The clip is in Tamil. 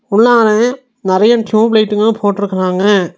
உள்ளாள நறைய டியூப் லைட்ங்களு போட்ருக்கறாங்க.